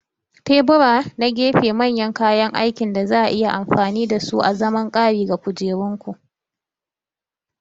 Tebura na gefe manyan kayan aikin da za a iya amfani da su azaman ƙari ga kukerunku.